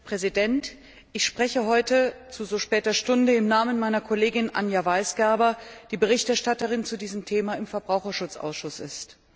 Herr Präsident! Ich spreche heute zu so später Stunde im Namen meiner Kollegin Anja Weisgerber, die Verfasserin der Stellungnahme zu diesem Thema im Verbraucherschutzausschuss ist.